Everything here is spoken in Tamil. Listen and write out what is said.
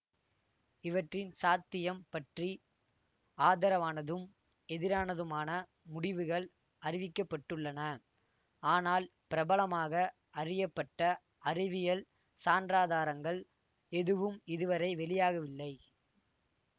இவற்றின் சாத்தியம் பற்றி ஆதரவானதும் எதிரானதுமான முடிவுகள் அறிவிக்க பட்டுள்ளன ஆனால் பிரபலமாக அறியப்பட்ட அறிவியல் சான்றாதாரங்கள் எதுவும் இதுவரை வெளியாகவில்லை